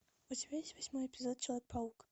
у тебя есть восьмой эпизод человек паук